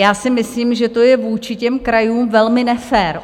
Já si myslím, že to je vůči těm krajům velmi nefér.